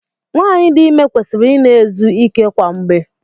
Nwaanyị dị ime kwesịrị ị na-ezu ike kwa mgbe.